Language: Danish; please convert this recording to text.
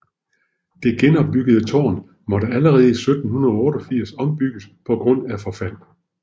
Det genopbyggede tårn måtte allerede i 1788 ombygges på grund af forfald